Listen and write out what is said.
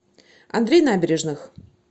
андрей набережных